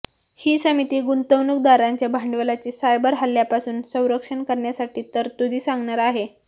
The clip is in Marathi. ही समिती गुंतवणूकदारांच्या भांडवलाचे सायबर हल्ल्यापासून संरक्षण करण्यासाठी तरतूदी सांगणार आहे